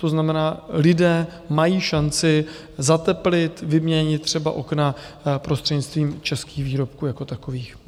To znamená, lidé mají šanci zateplit, vyměnit třeba okna prostřednictvím českých výrobků jako takových.